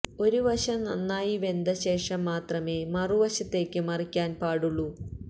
ഒരു വശം നന്നായി വെന്ത ശേഷം മാത്രമേ മറുവശത്തേക്ക് മറിക്കാന് പാടുള്ളൂ